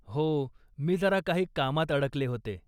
हो, मी जरा काही कामात अडकले होते.